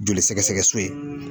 Joli sɛgɛsɛgɛ so ye.